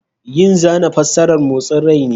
Yin zana fassarar motsin rai ne.